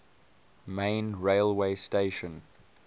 main railway station